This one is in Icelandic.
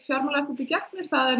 fjármálaeftirlitið gegnir það er